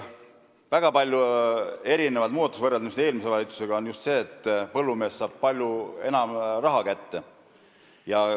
Väga palju muudatusi võrreldes eelmise valitsuse tehtuga seisneb just selles, et põllumees saab palju enam raha kätte.